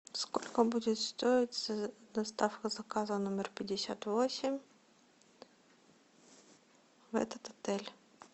сколько будет стоить доставка заказа номер пятьдесят восемь в этот отель